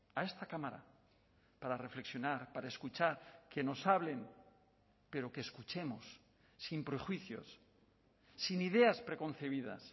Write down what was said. a esta cámara para reflexionar para escuchar que nos hablen pero que escuchemos sin prejuicios sin ideas preconcebidas